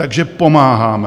Takže pomáháme.